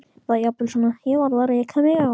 Eða jafnvel svona: Ég varð að reka mig á.